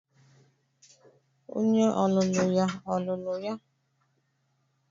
Onye ọlụlụ ya or lụrụ ya?